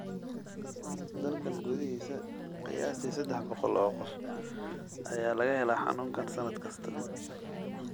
Dalka gudihiisa, qiyaastii sedaax boqol oo qof ayaa laga helaa xanuunkan sannad kasta.